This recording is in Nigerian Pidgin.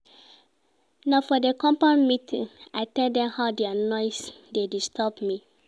Na for di compound meeting I tell dem how their noise dey disturb me.